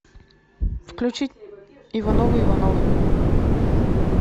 включить ивановы ивановы